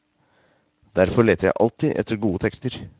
Derfor leter jeg alltid etter gode tekster.